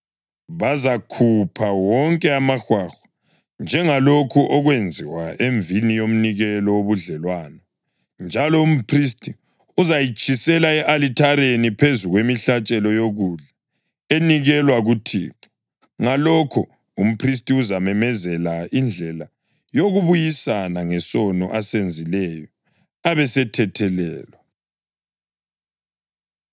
Bazakhupha wonke amahwahwa, njengalokhu okwenziwa emvini yomnikelo wobudlelwano, njalo umphristi uzayitshisela e-alithareni phezu kwemihlatshelo yokudla enikelwa kuThixo. Ngalokho umphristi uzamenzela indlela yokubuyisana ngesono asenzileyo abesethethelelwa.’ ”